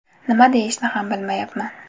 Nima deyishni ham bilmayman.